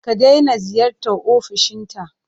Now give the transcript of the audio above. Ka daina ziyartar ofishinta!